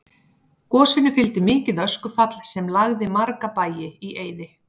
Gosinu fylgdi mikið öskufall sem lagði marga bæi í eyði.